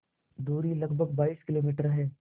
दूरी लगभग बाईस किलोमीटर है